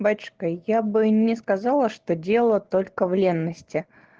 батюшка я бы не сказала что дело только в ленности